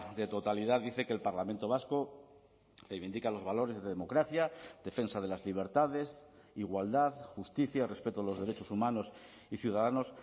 de totalidad dice que el parlamento vasco reivindica los valores de democracia defensa de las libertades igualdad justicia respeto a los derechos humanos y ciudadanos